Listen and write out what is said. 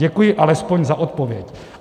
Děkuji alespoň za odpověď."